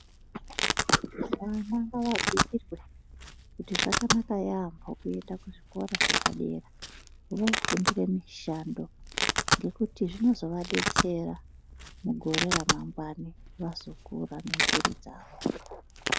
Vana ngavabhuirwe kuti zvakanaka yampo kuenda kuzvikora zvepadera vofundira mushando ngekuti zvinozo vadetsera mugore remangwani vazokura nemburi dzavo.